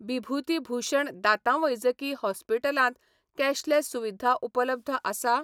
बिभूती भूषण दांतांवैजकी हॉस्पिटलांत कॅशलेस सुविधा उपलब्ध आसा?